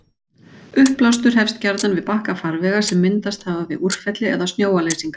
Uppblástur hefst gjarnan við bakka farvega sem myndast hafa við úrfelli eða snjóleysingar.